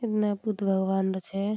इठना बुद्ध भगवानडा छे।